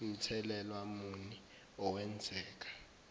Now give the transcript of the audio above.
mthelela muni owenzeka